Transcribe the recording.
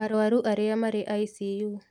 Arũaru arĩa marĩ icu